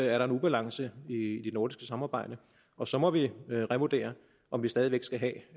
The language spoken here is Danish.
er der en ubalance i det nordiske samarbejde og så må vi revurdere om vi stadig væk skal give